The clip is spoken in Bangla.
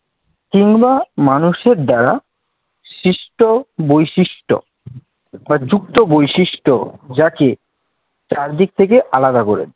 কিংবা মানুষের দ্বারা সৃষ্ট বৈশিষ্ট্য বা যুক্ত বৈশিষ্ট্য যাকে চারদিক থেকে আলাদা করে